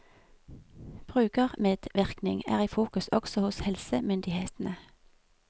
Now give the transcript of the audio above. Brukermedvirkning er i fokus også hos helsemyndighetene.